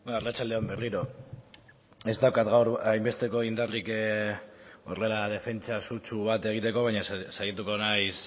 arratsalde on berriro ez daukat gaur hainbesteko indarrik horrela defentsa sutsu bat egiteko baina saiatuko naiz